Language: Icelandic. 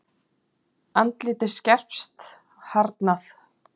Andlitið skerpst, harðnað.